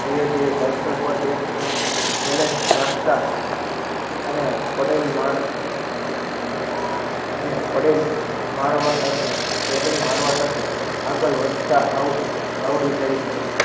જે જે સાઇકલ બેસીન balance રાખતા અને પેંડલ માર અને પડેલ મારવા સાથે પેંડલ મારવા સાથે આગળ વધતા આવ આવડી જાય છે.